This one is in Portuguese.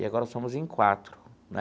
E agora somos em quatro, né?